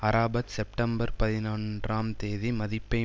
Arafat September பதினொன்றாம் தேதி மதிப்பை